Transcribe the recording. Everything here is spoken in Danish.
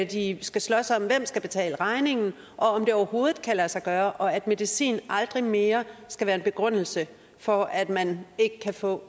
de skal slås om hvem der skal betale regningen og om det overhovedet kan lade sig gøre og at medicin aldrig mere skal være en begrundelse for at man ikke kan få